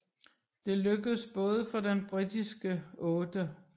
Det lykkedes både for den britiske 8